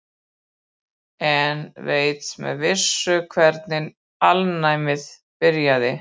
Enginn veit með vissu hvernig alnæmi byrjaði.